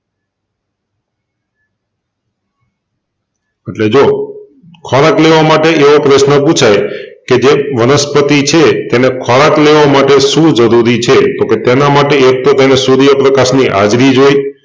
તોકે જો ખોરાક લેવા માટે એઓ પ્રશ્ન પુછાય કે જે વનસ્પતિ છે તેને ખોરાક લેવા માટે શું જરૂરી છે? તોકે તેના માટે એક તો તેને સુર્યપ્રકાશની હાજરી જોય